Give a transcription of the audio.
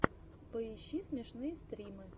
поищи смешные стримы